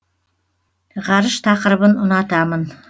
ғарыш тақырыбын ұнатамын